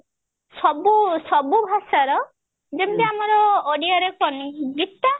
ସବୁ ସବୁ ଭାଷାର ଯେମତି ଆମର ଓଡିଆର ଗୀତା